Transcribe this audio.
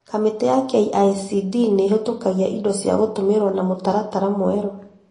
Kamĩtĩ ya KICD nĩhetũkagia indo cia gũtũmirwo na mũtaratara mwerũ